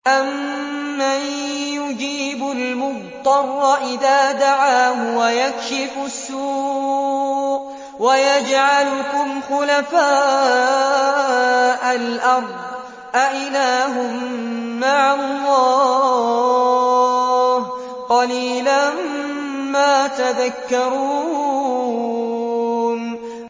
أَمَّن يُجِيبُ الْمُضْطَرَّ إِذَا دَعَاهُ وَيَكْشِفُ السُّوءَ وَيَجْعَلُكُمْ خُلَفَاءَ الْأَرْضِ ۗ أَإِلَٰهٌ مَّعَ اللَّهِ ۚ قَلِيلًا مَّا تَذَكَّرُونَ